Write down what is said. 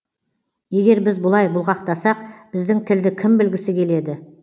егер біз бұлай бұлғақтасақ біздің тілді кім білгісі келеді